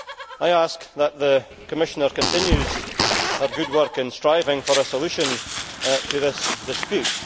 I ask that the Commissioner continue her good work in striving for a solution to this dispute.